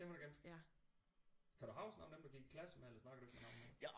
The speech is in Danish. Dem har du gemt kan du huske nogle af dem du gik i klasse med eller snakker du ikke med nogen af dem